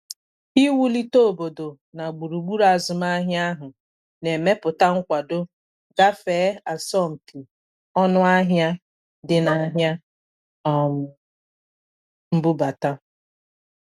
Iwụlite obodo na gburugburu azụmaahia ahụ na-emepụta nkwado gafee asọmpị ọnụahịa di na ahịa um mbụbata.